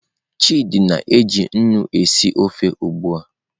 Chidi na-eji nnu esi ofe ugbua.